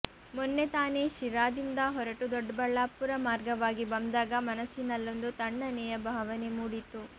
ಮೊನ್ನೆ ತಾನೆ ಶಿರಾದಿಂದ ಹೊರಟು ದೊಡ್ಡಬಳ್ಳಾಪುರ ಮಾರ್ಗವಾಗಿ ಬಂದಾಗ ಮನಸ್ಸಿನಲ್ಲೊಂದು ತಣ್ಣನೆಯ ಭಾವನೆ ಮೂಡಿತು